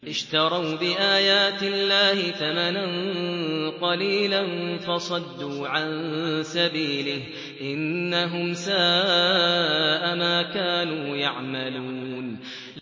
اشْتَرَوْا بِآيَاتِ اللَّهِ ثَمَنًا قَلِيلًا فَصَدُّوا عَن سَبِيلِهِ ۚ إِنَّهُمْ سَاءَ مَا كَانُوا يَعْمَلُونَ